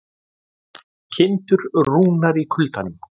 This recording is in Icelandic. Kindur rúnar í kuldanum